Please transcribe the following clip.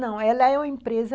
Não, ela é uma empresa